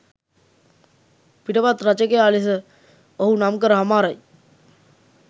පිටපත් රචකයා ලෙස ඔහු නම්කර හමාරයි.